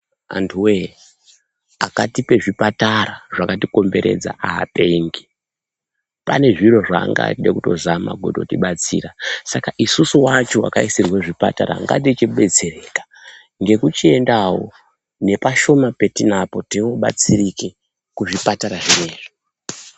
Antu wee akatipa zvipatara zvakatikomberedza haapengi ane zviro zvaaida kuzama kutibatsira saka isusu wacho vakaisirwa zvipatara ngatichibetsereka nekuchiendawo nepashoma patinapo kuti ubatsirike kuzvipatara zvinezvi.